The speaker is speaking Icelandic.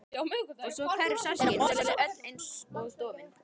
Og svo hverfur sársaukinn og hún verður öll einsog dofin.